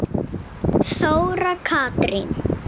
Þóra Katrín.